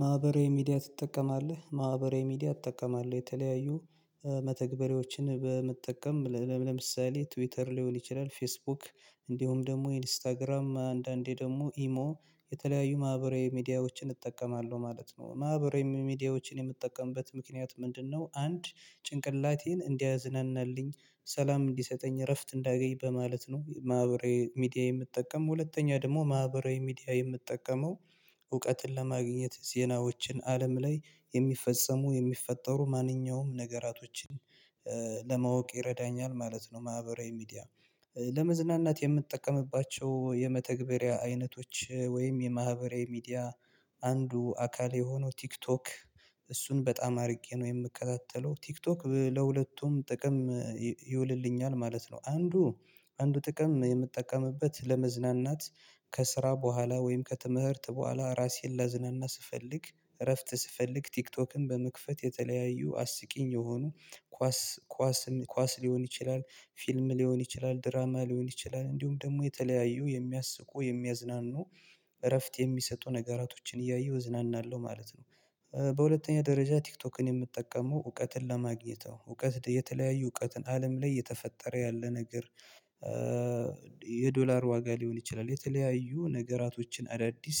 ማህበራዊ ሚዲያ ትጠቀማለህ ማህበራዊ ሚዲያ እጠቀማለው የተለያዩ መተግበሪያዎችን በመጠቀም ለምሳሌ ትዊተር ሊሆን ይችላል ፌስቡክ እንዲሁም ደግሞ ኢንስታግራም አንዳንዴ ደግሞ ኢሞ የተለያዩ ማህበራዊ ሚዲያዎችን እጠቀማለሁ ማለት ነው ማህበራዊ ሚዲያዎችን የምጠቀምበት ምክንያት ምንድነው? አንድ ጭንቅላቴን እንዲያዝናናልኝ ሰላም እንዲሰጠኝ እረፍት እንዳገኝ በማለት ነው። ማህበራዊ ሚዲያ የምጠቀም ሁለተኛ ደግሞ ማህበራዊ ሚዲያ የምጠቀመው እውቀትን ለማግኘት ዜናዎችን አለም ላይ የሚፈጸሙ የሚፈጠሩ ማንኛውም ነገራቶችን ለማወቅ ይረዳኛል ማለት ነው። ማህበራዊ ሚዲያ ለመዝናናት የምጠቀምባቸው የመተግበሪያ አይነቶች ወይም የማህበራዊ ሚዲያ አንዱ አካል የሆነው ቲክቶክ እሱን በጣም አድርጌ ነው የምከታተለው ቲክቶክ ለሁለቱም ጥቅም ይውልልኛል ማለት ነው። አንዱ አንዱ ጥቅም የምጠቀምበት ለመዝናናት ከስራ በኋላ ወይም ከትምህርት በኋላ ራሴን ላዝናና ስፈልግ እረፍት ስፈልግ ቲክቶክን በመክፈት የተለያዩ አስቂኝ የሆኑ ኳስ ኳስን ኳስ ሊሆን ይችላል ፊልም ሊሆን ይችላል ድራማ ሊሆን ይችላል እንዲሁም ደግሞ የተለያዩ የሚያስቁ የሚያዝናኑ እረፍት የሚሰጡ ነገራቶችን እያየሁ እዝናናለሁ ማለት ነው። በሁለተኛ ደረጃ ቲክቶክን የምጠቀመው እውቀትን ለማግኘት እውቀት የተለያዩ እውቀትን አለም ላይ እየተፈጠረ ያለ ነገር የዶላር ዋጋ ሊሆን ይችላል የተለያዩ ነገራቶችን አዳዲስ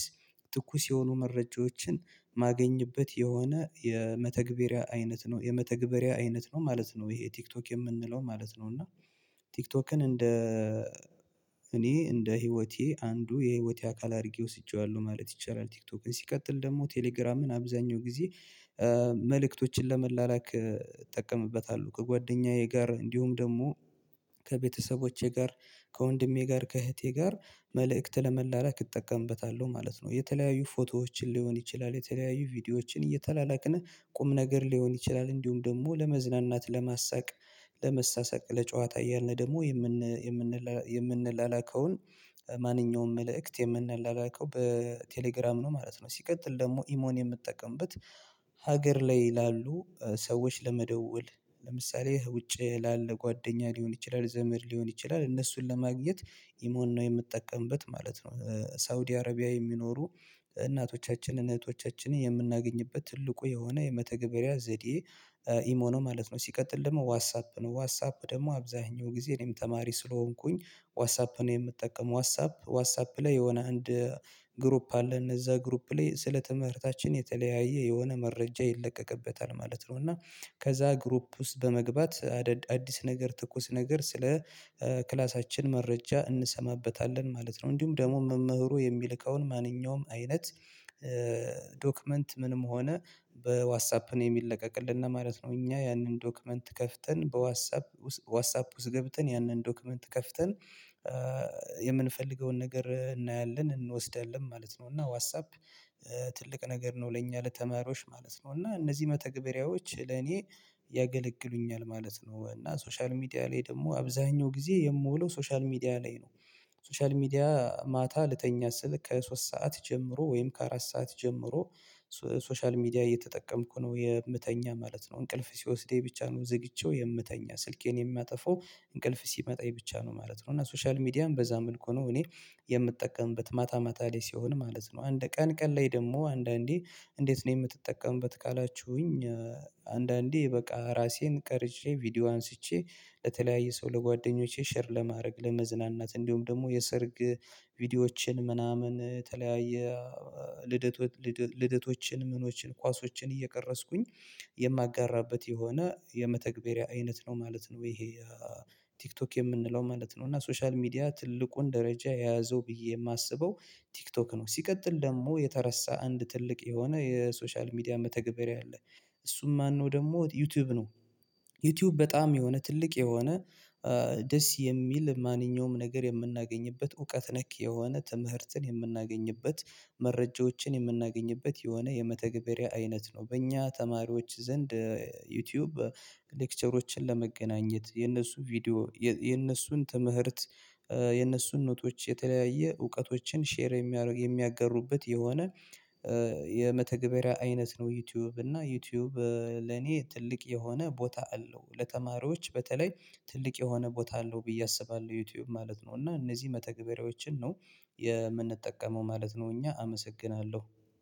ትኩስ የሆኑ መረጃዎችን ማገኝበት የሆነ የመተግበሪያ አይነት ነው የመተግበሪያ አይነት ነው ማለት ነው። ይሄ ቲክቶክ የምንለው ማለት ነው እና ቲክቶክን እንደ እኔ እንደ ህይወቴ አንዱ የህይወቴ አካል አድርጌ ወስጄዋለሁ ማለት ይቻላል። ቲክቶክ ላይ ሲቀጥል ደግሞ ቴሌግራምን አብዛኛው ጊዜ መልእክቶችን ለመላላክ እጠቀምበታለው ከጓደኛዬ ጋር እንዲሁም ደግሞ ከቤተሰቦቼ ጋር ከወንድሜ ጋር ከእህቴ ጋር መልእክት ለመላላክ እጠቀምበታለሁ ማለት ነው። የተለያዩ ፎቶዎችን ሊሆን ይችላል የተለያዩ ቪዲዮዎችን እየተላላክን ቁም ነገር ሊሆን ይችላል እንዲሁም ደግሞ ለመዝናናት ለማሳቅ ለመሳሰቅ ለጨዋታ እያልን ደግሞ የምንላላከውን ማንኛውም መልእክት የምንላላከው በቴሌግራም ነው ማለት ነው። ሲቀጥል ደግሞ ኢሞን የምጠቀምበት ሀገር ላይ ላሉ ሰዎች ለመደወል ለምሳሌ ውጭ ላለ ጓደኛ ሊሆን ይችላል ዘመድ ሊሆን ይችላል እነሱን ለማግኘት ኢሞን ነው የምጠቀምበት ማለት ነው። ሳውዲ አረቢያ የሚኖሩ እናቶቻችንን እህቶቻችንን የምናገኝበት ትልቁ የሆነ የመተግበሪያ ዘዴ ኢሞ ነው ማለት ነው። ሲቀጥል ደግሞ ዋትስአፕ ነው ዋትስአፕ ደግሞ አብዛኛው ጊዜ እኔም ተማሪ ስለሆንኩኝ ዋትስአፕ ነው የምጠቀመው ዋትስአፕ ዋትስአፕ ላይ የሆነ አንድ ግሩፕ አለን እዛ ግሩፕ ላይ ስለ ትምህርታችን የተለያየ የሆነ መረጃ ይለቀቅበታል ማለት ነው። እና ከዛ ግሩፕ ውስጥ በመግባት አዲስ ነገር ትኩስ ነገር ስለ ክላሳችን መረጃ እንሰማበታለን ማለት ነው እንዲሁም ደግሞ መምህሩ የሚልከውን ማንኛውም አይነት ዶክመንት ምንም ሆነ በዋትስአፕ ነው የሚለቀቅልን ማለት ነው። እኛ ያንን ዶክመንት ከፍተን በዋትሳፕ ዋትስአፕ ውስጥ ገብተን ያንን ዶክመንት ከፍተን የምንፈልገውን ነገር እናያለን እንወስዳለን ማለት ነው። እና ዋትስአፕ ትልቅ ነገር ነው ለኛ ለተማሪዎች ማለት ነው። እና እነዚህ መተግበሪያዎች ለኔ ያገለግሉኛል ማለት ነው። እና ሶሻል ሚዲያ ላይ ደግሞ አብዛኛው ጊዜ የምውለው ሶሻል ሚዲያ ላይ ነው። ሶሻል ሚዲያ ማታ ልተኛ ስል ከሶስት ሰዓት ጀምሮ ወይም ከአራት ሰዓት ጀምሮ ሶሻል ሚዲያ እየተጠቀምኩ ነው የምተኛ ማለት ነው። እንቅልፍ ሲወስደኝ ብቻ ነው ዘግቼው የምተኛ ስልኬን የማጠፋው እንቅልፍ ሲመጣኝ ብቻ ነው ማለት ነው። እና ሶሻል ሚዲያም በዛ መልኩ ነው እኔ የምጠቀምበት ማታ ማታ ላይ ሲሆን ማለት ነው። አንድ ቀን ቀን ላይ ደግሞ አንዳንዴ እንዴት ነው የምትጠቀምበት ካላችሁኝ? አንዳንዴ በቃ ራሴን ቀርጼ ቪዲዮ አንስቼ ለተለያየ ሰው ለጓደኞቼ ሼር ለማድረግ ለመዝናናት እንዲሁም ደግሞ የሰርግ ቪዲዮዎችን ምናምን የተለያየ ልደት ልደቶችን ምኖችን ኳሶችን እየቀረጽኩኝ የማጋራበት የሆነ የመተግበሪያ አይነት ነው ማለት ነው። ይሄ ቲክቶክ የምንለው ማለት ነው እና ሶሻል ሚዲያ ትልቁን ደረጃ የያዘው ብዬ የማስበው ቲክቶክ ነው። ሲቀጥል ደግሞ የተረሳ አንድ ትልቅ የሆነ የሶሻል ሚዲያ መተግበሪያ አለ እሱም ማነው? ደግሞ ዩቲዩብ ነው። ዩቲዩብ በጣም የሆነ ትልቅ የሆነ ደስ የሚል ማንኛውም ነገር የምናገኝበት እውቀት ነክ የሆነ ትምህርትን የምናገኝበት መረጃዎችን የምናገኝበት የሆነ የመተግበሪያ አይነት ነው። በእኛ ተማሪዎች ዘንድ ዩቲዩብ ሌክቸሮችን ለመገናኘት የነሱ ቪዲዮ የነሱን ትምህርት የነሱን ኖቶች የተለያየ እውቀቶችን ሼር የሚያጋሩበት የሆነ የመተግበሪያ አይነት ነው። ዩቲዩብ እና ዩቲዩብ ለኔ ትልቅ የሆነ ቦታ አለው ለተማሪዎች በተለይ ትልቅ የሆነ ቦታ አለው ብዬ አስባለሁ። ዩቲዩብ ማለት ነው እና እነዚህ መተግበሪያዎችን ነው የምንጠቀመው ማለት ነው። እኛ አመሰግናለሁ